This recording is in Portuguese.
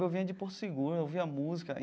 Eu vinha de Porto Seguro, eu ouvia música.